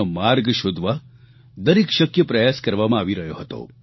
તેનો માર્ગ શોધવા દરેક શક્ય પ્રયાસ કરવામાં આવી રહ્યો હતો